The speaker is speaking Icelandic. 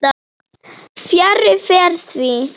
Fjarri fer því.